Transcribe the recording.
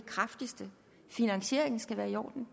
lovede jo